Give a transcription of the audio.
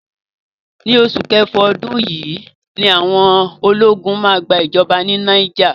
Ni oṣù kẹfà ọdún yìí ni àwọn ológun máa gba ìjọba ní Niger.